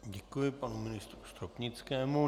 Děkuji panu ministru Stropnickému.